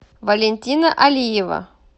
валентина алиева